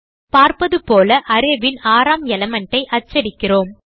பார்ப்பதுபோல array ன் ஆறாம எலிமெண்ட் ஐ அச்சடிக்கிறோம்